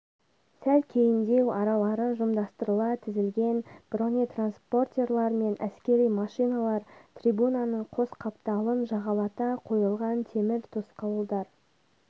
сәл кейіндеу аралары жымдастырыла тізілген бронетранспортерлар мен әскери машиналар трибунаның қос қапталын жағалата қойылған темір тосқауылдар